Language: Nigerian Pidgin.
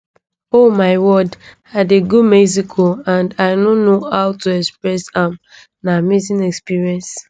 oh my world i dey go mexico and i no know how to express am na amazing experience